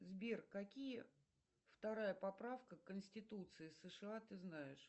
сбер какие вторая поправка к конституции сша ты знаешь